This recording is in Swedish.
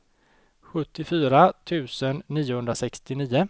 sjuttiofyra tusen niohundrasextionio